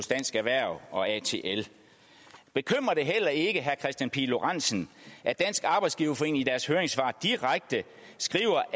dansk erhverv og atl bekymrer det heller ikke herre kristian pihl lorentzen at dansk arbejdsgiverforening i deres høringssvar direkte skriver